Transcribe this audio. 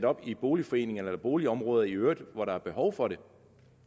op i boligforeninger eller boligområder i øvrigt hvor der er behov for det